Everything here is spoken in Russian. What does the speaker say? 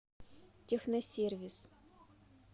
техносервис